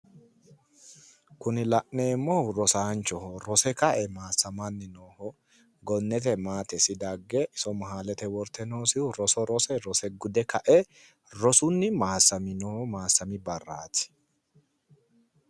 Kuni la'neemmohu rosanchoho rose ka"e maassamanni no gonnete maatesi dagge iso mehaalete worte noosihu roso gude rosunni maassami barraati